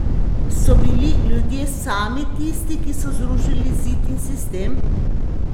So bili ljudje sami tisti, ki so zrušili zid in sistem?